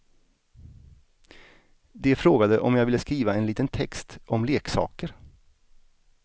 De frågade om jag ville skriva en liten text om leksaker.